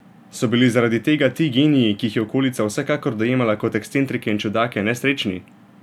So bili zaradi tega ti geniji, ki jih je okolica vsekakor dojemala kot ekscentrike in čudake, nesrečni?